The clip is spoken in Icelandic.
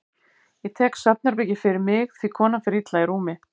Ég tek svefnherbergið fyrir mig því konan fer illa í rúmi.